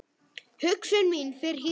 Hugsun mín fer héðan.